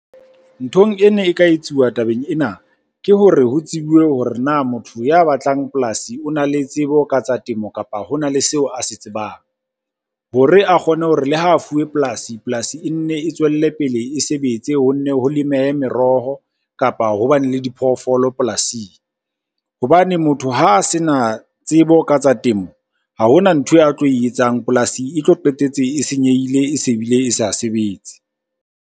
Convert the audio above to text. Nthong e ne e ka etsuwa tabeng ena, ke hore ho tsebiwe hore na motho ya batlang polasi o na le tsebo ka tsa temo. Kapa hona le seo a se tsebang hore a kgone hore le ha a fuwe polasi, polasi e nne e tswelle pele e sebetse. Ho nne ho lemeha meroho, kapa ho bane le diphoofolo polasing hobane motho ha a se na tsebo ka tsa temo, ha hona nthwe a tlo e etsang. Polasi e tlo qetetse e senyehile e se bile e sa sebetse.